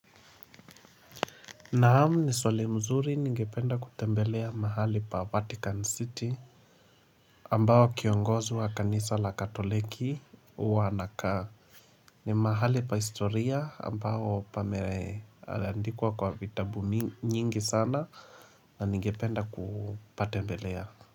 Naam ni swali mzuri ningependa kutembelea mahali pa Vatican City ambayo kiongozi wa kanisa la katoliki huwa anakaa ni mahali pa historia ambao pameandikuwa kwa vitabu nyingi sana na ningependa kupatembelea.